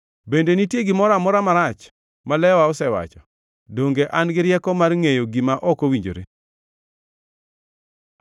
Bende nitie gimoro amora marach ma lewa osewacho? Donge an gi rieko mar ngʼeyo gima ok owinjore?